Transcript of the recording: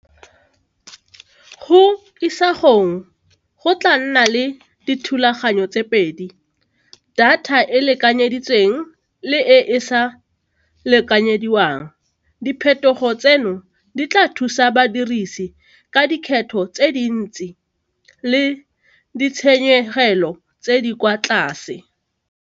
Go isagong go tla nna le dithulaganyo tse pedi, data e e lekanyeditsweng le e e sa lekanyediwang diphetogo tseno di tla thusa badirisi ka dikgetlho tse dintsi le ditshenyegelo tse di kwa tlase.